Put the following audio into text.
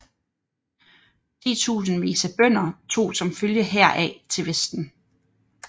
Titusindvis af bønder tog som følge heraf til Vesten